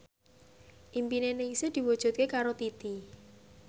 impine Ningsih diwujudke karo Titi